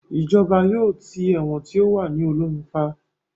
Ìjọba yóò tì ẹ̀wọ̀n tí ó wà ní Olómi pa